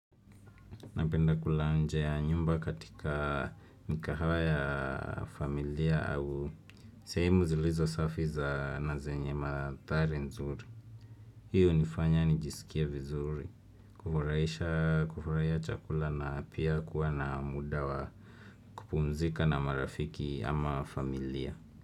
Napenda kula nje ya nyumba katika mikahawa ya familia au sehemu zilizosafi za na zenye mandhari nzuri. Hii unifanya nijisikie vizuri. Kufurahisha kufurahia chakula na pia kuwa na muda wa kupumzika na marafiki ama familia.